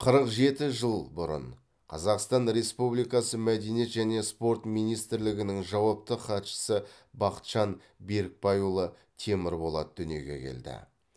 қырық жеті жыл бұрын қазақстан республикасы мәдениет және спорт министрлігінің жауапты хатшысы бақытжан берікбайұлы темірболат дүниеге келді